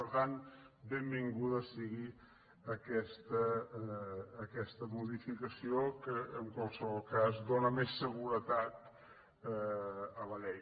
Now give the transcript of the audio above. per tant benvinguda sigui aquesta modificació que en qualsevol cas dóna més seguretat a la llei